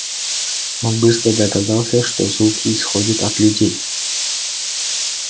он быстро догадался что звуки исходят от людей